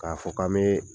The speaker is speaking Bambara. K'a fɔ k'an bɛ